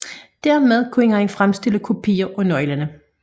Dermed kunne han fremstille kopier af nøglerne